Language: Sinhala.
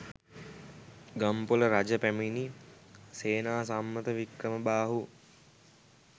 ගම්පොළ රජ පැමිණි සේනාසම්මත වික්‍රමබාහු